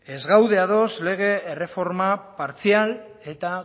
ez gaude ados lege erreforma partzial eta